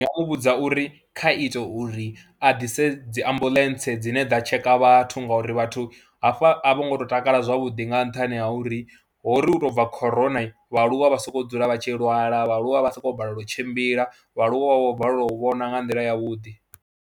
Ndi nga u vhudza uri kha ite uri a ḓise dzi ambuḽentse dzine dza tsheka vhathu ngauri vhathu hafha a vho ngo tou takala zwavhuḓi nga nṱhani ha uri ho ri u tou bva khoroni vhaaluwa vha sokou dzula vha tshi lwala, vhaaluwa vha sokou balelwa u tshimbila, vhaaluwa vha vho balelwa u vhona nga nḓila yavhuḓi.